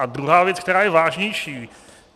A druhá věc, která je vážnější.